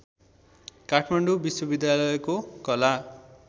काठमाडौँ विश्वविद्यालयको कला